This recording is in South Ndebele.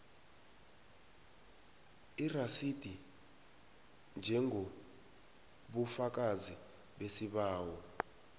irasidi njengobufakazi besibawo